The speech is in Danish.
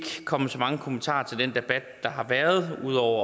komme med så mange kommentarer til den debat der har været ud over